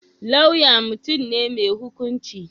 Lauya mutum ne mai hukunci.